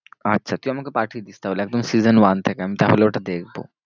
আচ্ছা তুই আমাকে পাঠিয়ে দিস তাহলে একদম season one থেকে, আমি তাহলে ওটা দেখবো।